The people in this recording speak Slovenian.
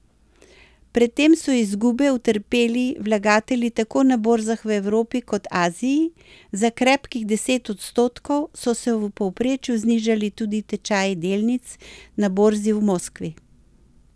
Pred tem so izgube utrpeli vlagatelji tako na borzah v Evropi kot Aziji, za krepkih deset odstotkov so se v povprečju znižali tudi tečaji delnic na borzi v Moskvi.